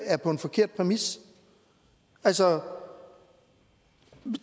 er på en forkert præmis altså